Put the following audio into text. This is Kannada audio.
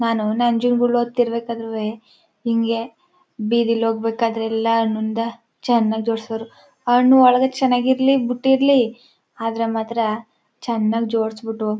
ನಾನು ನಂಜನಗೂಡಿಗೆ ಹೋಗ್ತಿರ್ ರ್ಬೇಕಾದ್ರೆ ಹಿಂಗೇ ಬೀದಿಲಿ ಹೋಗ್ಬೇಕಾದ್ರೆ ಎಲ್ಲ ಹಣ್ಣಿಂದ ಚೆನ್ನಾಗಿ ಜೋಡಿಸ್ಯಾರ ಹಣ್ಣು ಒಳಗೆ ಚೆನ್ನಾಗಿರ್ಲಿ ಬಿಟ್ಟಿರಲಿ ಆದರೆ ಮಾತ್ರ ಚೆನ್ನಾಗಿ ಜೋಡಿಸಿ ಬಿಟ್ಟು--